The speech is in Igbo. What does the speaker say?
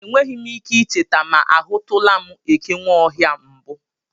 E nweghị ike ị cheta ma a hụtụla m ekenweohia mbụ.